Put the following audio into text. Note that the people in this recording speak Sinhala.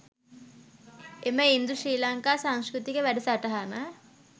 එම ඉන්දු ශ්‍රී ලංකා සංස්කෘතික වැඩසටහන